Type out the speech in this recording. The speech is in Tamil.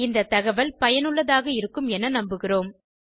இந்த தகவல் பயனுள்ளதாக இருக்கும் என நம்புகிறோம்